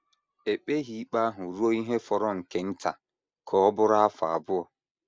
E kpeghị ikpe ahụ ruo ihe fọrọ nke nta ka ọ bụrụ afọ abụọ.